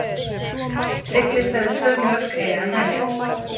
Tryggvi sagði tvö mörk eiga að nægja.